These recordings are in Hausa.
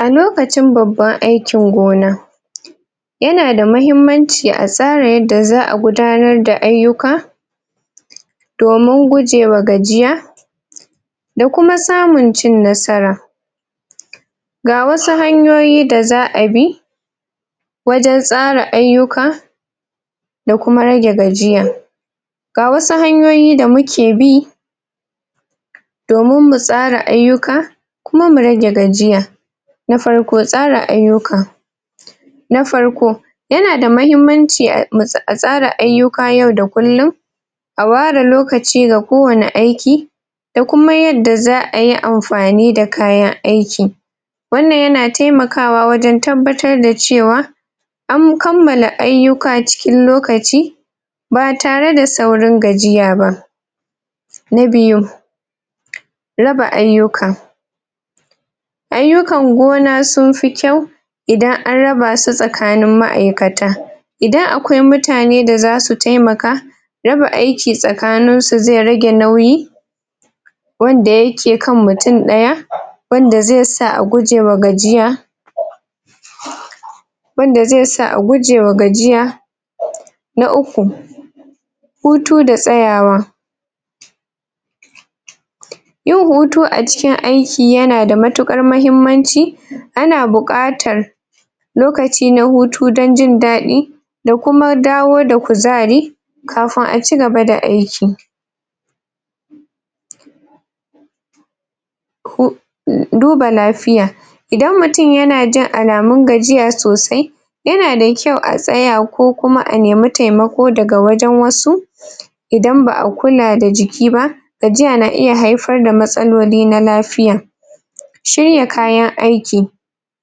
a lokacin babban aikin gona yana da mahimman ci a tsara yadda za'a gudanar da aiyuka domin gujewa gajiya da kuma samun cin nasara ga wasu hanyoyi da za'a bi wajen tsara aiyuka da kuma rage gajiya ga wasu hanyoyi da muke bi domin mu tsara aiyuka kuma mu rage gajiya na farko tsara aiyuka na farko yana da mahimmanci a tsara aiyuka yau da kullun a ware lokaci ga ko wani aiki da kuma yanda za'ayi amfani da kayan aiki wannan yana taimakawa wajen tabbatar da cewa an kammala aiyuka cikin lokaci ba tare da saurin gajiya ba na biyu raba aiyuka aiyukan gona sun fi ƙyau idan an raba su tsakanin ma'aikata idan akwai mutane da zasu taimaka raba aiki tsakanin su zai rage nauyi wanda yake kan mutun daya wanda zai sa a guje wa gajiya wanda zai sa a guje wa gajiya na uku hutu da tsayawa yin hutu a cikin aiki yana da matuƙar mahimmanci ana bukatar lokaci na hutu dan jindaɗi da kuma dawo da kuzari kafun a cigaba da aiki duba lafiya dan mutun yana jin alamun gajiya sosai yana da kyau a tsaya ko kuma a nemi taimako daga wasu dan ba'a kula da jiki ba ajiya na iya haifar da matsaloli na lafiya shirya kayan aiki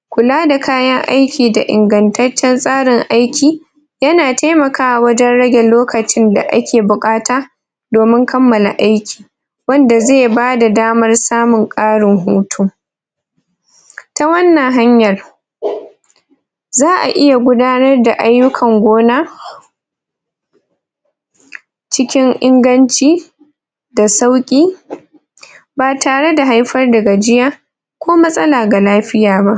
kula da kayan aiki da ingantaccen tsarin aiki yana taimaka wa wajen rege lokacin da ake bukata domin kammala aiki wanda zai bada damar samun karin hutu a wannan hanyar za'a iya gudanar da aikin gona cikin inganci da sauki a tare da haifar da gajiya ko matsala ga lafiya ba